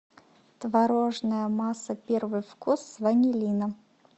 творожная масса первый вкус с ванилином